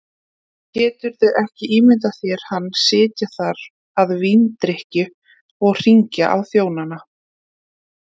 Geturðu ekki ímyndað þér hann sitja þar að víndrykkju og hringja á þjónana.